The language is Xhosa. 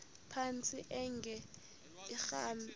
phantsi enge lrabi